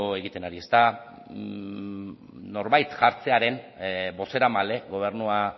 egiten ari norbait jartzearren bozeramaile gobernua